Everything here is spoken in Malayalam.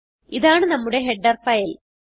ഇതാണ് നമ്മുടെ ഹെഡർ ഫൈൽ